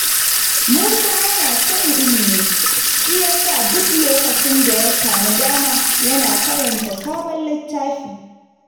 Musa yana son ilimi, shi yasa duk lokacin da ya sami dama yana karanta sabon littafi.